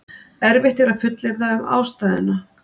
Erfitt er að fullyrða um ástæðuna.